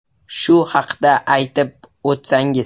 Shu haqda aytib o ‘tsangiz.